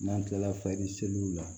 N'an tilala fayiri seliw la